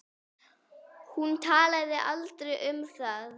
Hún talaði aldrei um það.